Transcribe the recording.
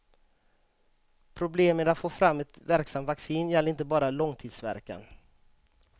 Problemet med att få fram ett verksamt vaccin gäller inte bara långtidsverkan.